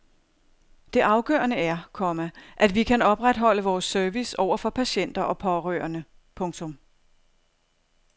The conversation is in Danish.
Det afgørende er, komma at vi kan opretholde vores service over for patienter og pårørende. punktum